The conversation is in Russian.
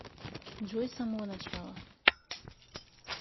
джой с самого начала